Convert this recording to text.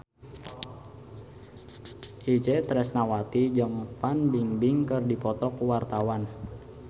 Itje Tresnawati jeung Fan Bingbing keur dipoto ku wartawan